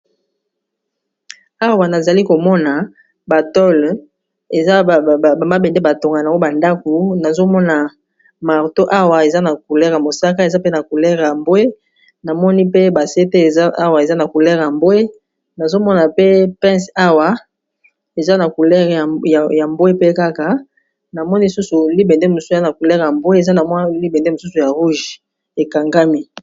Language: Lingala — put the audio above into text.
awa nazali komona batole eza bmabende batonga nao bandaku nazomona marto awa eza na coulere ya mosaka eza pe na coulere ya mbwe namoni pe basete ezaawa eza na coulere ya mbwe nazomona pe pince awa eza na coulere ya mbwe pe kaka na moni susu libende mosana coulere yambwe eza na mwi libende mosusu ya rouge ekangami